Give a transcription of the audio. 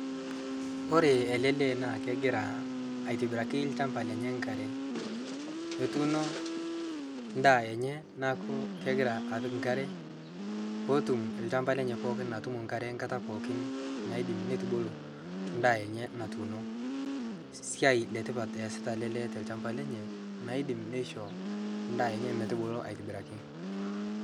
kore alee lee naa kegiraa aitibirakii lshampa lenye nkaree etuno ndaa enyee naaku kegira apik nkare pootum lshampa lenye pookin nkare nkataa pookin naidim netubuluu ndaa enye natuuno siai letipat easita alee lee ta lshampaa lenyee naidim neishoo ndaa enyee motubulu aitibirakii